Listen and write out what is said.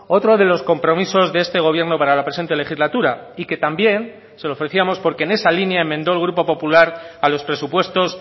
otro de los compromisos de este gobierno para la presente legislatura y que también se lo ofrecíamos porque en esa línea enmendó el grupo popular a los presupuestos